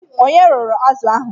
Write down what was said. Ònye rụrụ azụ a?